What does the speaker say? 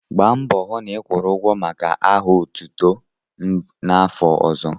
Gba mbọ hụ na ịkwụrụ ụgwọ maka aha otutu n'afọ ọzọ!